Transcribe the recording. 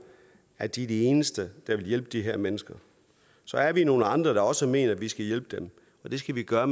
at de er de eneste der vil hjælpe de her mennesker så er vi nogle andre der også mener at vi skal hjælpe dem og det skal vi gøre